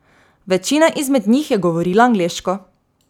Večina izmed njih je govorila angleško.